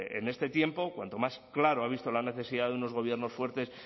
en este tiempo cuanto más claro ha visto la necesidad de unos gobiernos fuertes